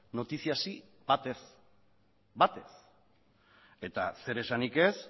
noticiasi bat ere ez bat ere ez eta zer esanik ez